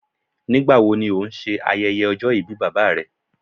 Nigbawo ni o n ṣe ayẹyẹ ọjọ-ibi baba rẹ